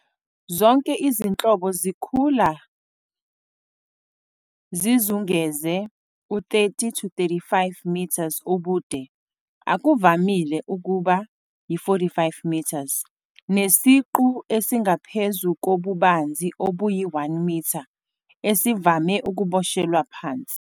Zonke izinhlobo zikhula zizungeze u-30-35m ubude, akuvamile ukuba yi-45m, nesiqu esingaphezu kobubanzi obuyi-1m, esivame ukuboshelwa phansi.